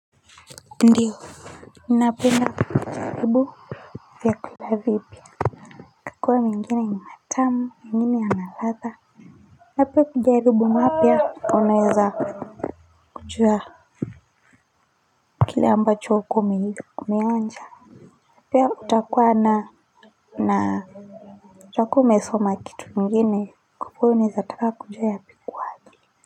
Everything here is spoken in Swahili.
Ndiyo ninapenda kujaribu vyakula vipya chakula mengine ni matamu mengine yana ladha na pia kujaribu mapya unaweza kujua kile ambacho hukuwa umeonja pia utakuwa na na utakuwa umesoma kitu ingine kwa kuwa unaezataka kujua ya pikwapi.